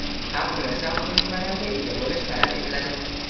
ham universal ko‘nikmalarga ega bo‘lish talab etiladi.